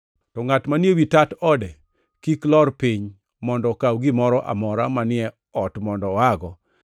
To ngʼat manie wi tat ode kik lor piny mondo okaw gimoro amora manie ot mondo oago.